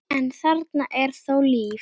en þarna er þó líf.